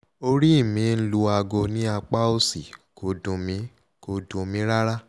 orí mi ń lu aago ní apá òsì kò dùn mí kò dùn mí rárá